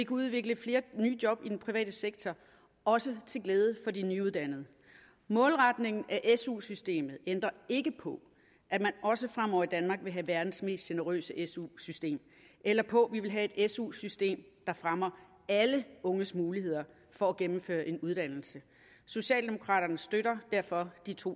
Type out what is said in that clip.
udvikle flere nye job i den private sektor også til glæde for de nyuddannede målretningen af su systemet ændrer ikke på at man også fremover i danmark vil have verdens mest generøse su system eller på at vi vil have et su system der fremmer alle unges muligheder for at gennemføre en uddannelse socialdemokraterne støtter derfor de to